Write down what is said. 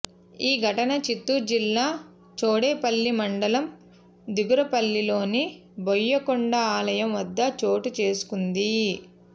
ఈ ఘటన చిత్తూరు జిల్లా చౌడేపల్లి మండలం దిగురపల్లిలోని బోయకొండ ఆలయం వద్ద చోటుచేసుకుంది